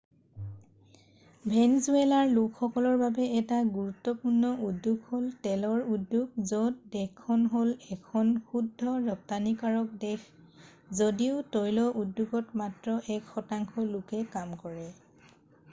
ভেনজুৱালাৰ লোকসকলৰ বাবে এটা গুৰুত্বপূৰ্ণ উদ্যোগ হ'ল তেলৰ উদ্যোগ য'ত দেশখন হ'ল এখন শুদ্ধ ৰপ্তানিকৰক দেশ যদিও তৈল উদ্যোগত মাত্ৰ এক শতাংশ লোকে কাম কৰে